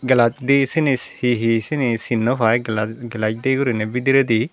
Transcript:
glass di syeni he he syeni sin naw paai glass glass dey guriney bidiredi.